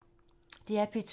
DR P2